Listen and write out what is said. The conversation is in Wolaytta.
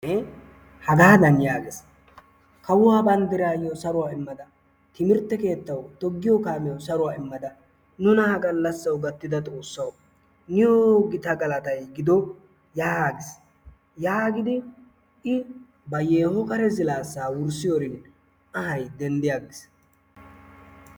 Hagee hagaadan yaagees. Toggiyoo kaamiyawu saruwaa immada timirtte keettawu saruwaa immada nuna ha gallaasawu gaattida xoossawu niyoo gita galatay gido yaagiis. yaagidi i ba yeeho kare kare ziilaassaa wurssiyoorin anhay denddi aggiis.